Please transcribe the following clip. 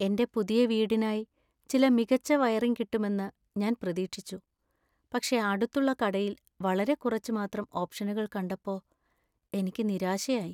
എന്‍റെ പുതിയ വീടിനായി ചില മികച്ച വയറിംഗ് കിട്ടുമെന്ന് ഞാൻ പ്രതീക്ഷിച്ചു, പക്ഷേ അടുത്തുള്ള കടയിൽ വളരെ കുറച്ച് മാത്രം ഓപ്ഷനുകൾ കണ്ടപ്പോ എനിക്ക് നിരാശയായി.